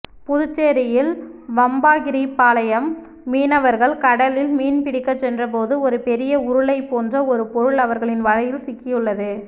புதுச்சேரியில் வம்பாகீரப்பாளையம் மீனவர்கள் கடலில் மீன்பிடிக்க சென்றபோது ஒரு பெரிய உருளை போன்ற ஒரு பொருள் அவர்களின் வலையில் சிக்கியுள்ளது